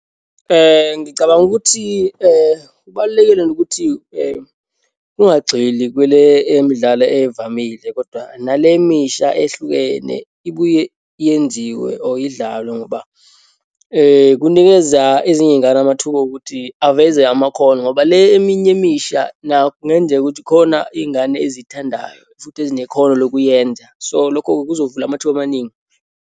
Ngicabanga ukuthi kubalulekile nokuthi kungagxili kule emidlalo evamile, kodwa nale emisha ehlukene ibuye yenziwe or idlalwe, ngoba kunikeza ezinye iyingane amathuba okuthi aveze amakhono, ngoba le eminye emisha nakho kungenzeka ukuthi khona iyingane eziyithandayo futhi ezinekhono lokuyenza. So, lokho kuzovula amathuba amaningi.